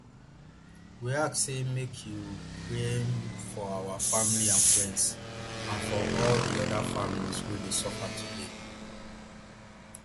we ask say make you um pray um for our family and friends and for all di oda families wey dey suffer today